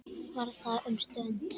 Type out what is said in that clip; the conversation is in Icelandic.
Var þar um stund.